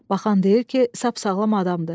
Baxan deyir ki, sap-sağlam adamdır.